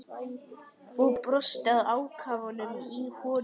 Og brosti að ákafanum í honum.